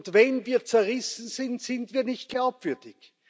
Und wenn wir zerrissen sind, sind wir nicht glaubwürdig.